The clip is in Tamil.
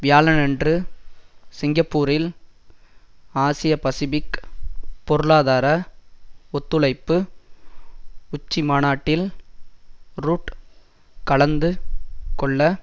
வியாழனன்று சிங்கப்பூரில் ஆசியபசிபிக் பொருளாதார ஒத்துழைப்பு உச்சிமாநாட்டில் ரூட் கலந்து கொள்ள